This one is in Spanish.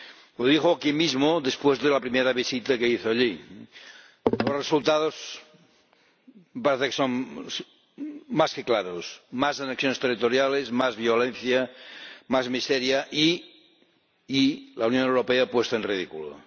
Lo dijo aquí mismo después de la primera visita que hizo allí. Los resultados parece que son más que claros más anexiones territoriales, más violencia, más miseria y la Unión Europea puesta en ridículo.